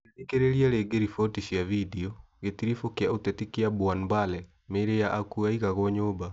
Ũngĩthikĩrĩria rĩngĩ riboti cia vindiũ, gĩtiribũ kĩa ũteti kĩa Bwanbale mĩĩrĩ ya akuũ yaigagwo nyũmba